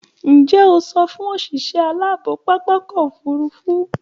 Ǹjẹ́ẹ́ o sọ fún òṣìṣẹ́ aláàbò pápákọ̀ òfurufú?